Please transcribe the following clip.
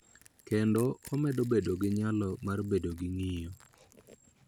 Kendo omedo bedo gi nyalo mar bedo gi ng�iyo .